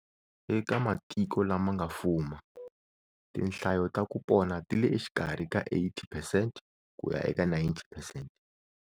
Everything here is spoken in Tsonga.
Eka matiko lama nga fuma, tinhlayo ta ku pona ti le xikarhi ka 80 percent ku ya ka 90 percent.